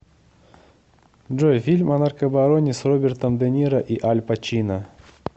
джой фильм о наркобароне с робертом де ниро и аль пачино